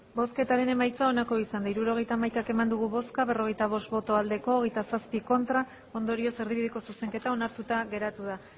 hirurogeita hamaika eman dugu bozka berrogeita bost bai hogeita zazpi ez ondorioz erdibideko zuzenketa onartuta geratu da